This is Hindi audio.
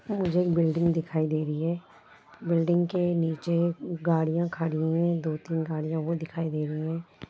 मुझे एक बिल्डिंग दिखाई दे रही है बिल्डिंग के नीचे गाड़ीयां खड़ी है दो तीन गाड़ीयां वह दिखाई दे रही है।